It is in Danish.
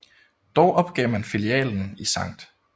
Dog opgav man filialen i Skt